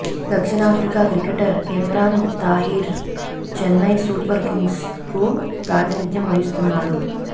దక్షిణాఫ్రికా cricketer Imran Tahir Chennai super కింగ్స్కు ప్రాతినిథ్యం వహిస్తున్నాడు